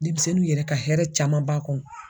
Demisɛnninw yɛrɛ ka hɛrɛ caman b'a kɔnɔ.